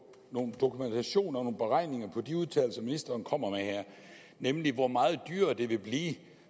noget dokumentation og nogle beregninger på de udtalelser ministeren kommer med her nemlig hvor meget dyrere det vil blive